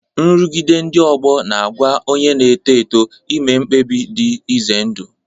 Nrụgide ndị ọgbọ na-anwa onye na-eto eto ime mkpebi dị ize ndụ.